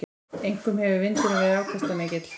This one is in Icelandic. Einkum hefur vindurinn verið afkastamikill.